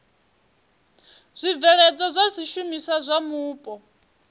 zwibveledzwa zwa zwishumiswa zwa mupo